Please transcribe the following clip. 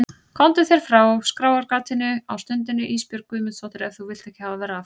Komdu þér frá skráargatinu á stundinni Ísbjörg Guðmundsdóttir ef þú vilt ekki hafa verra af.